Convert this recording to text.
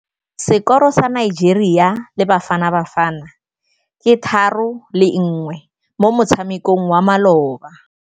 Sekôrô sa Nigeria le Bafanabafana ke 3-1 mo motshamekong wa malôba.